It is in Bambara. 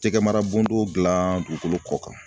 Cɛkɛmara bondɔon dilan dugukolo kɔ kan.